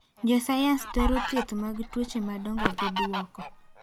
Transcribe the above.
Josayans dwaro thieth mag tuoche madongo gi bwoko.